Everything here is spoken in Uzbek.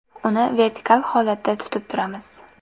Uni vertikal holatda tutib turamiz.